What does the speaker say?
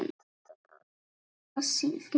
Ekki tala svona, Sif mín!